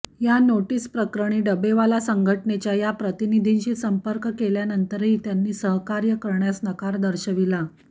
या नोटीस प्रकरणी डबेवाला संघटनेच्या या प्रतिनिधींशी संपर्क केल्यानंतरही त्यांनी सहकार्य करण्यास नकार दर्शविला